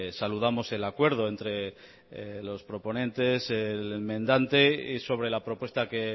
saludamos el acuerdo entre los proponentes el enmendante y sobre la propuesta que